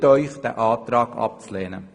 Wir empfehlen Ihnen, den Antrag abzulehnen.